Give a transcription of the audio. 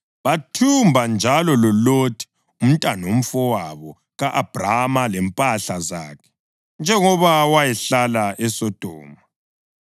Bathumba njalo loLothi umntanomfowabo ka-Abhrama lempahla zakhe, njengoba wayehlala eSodoma.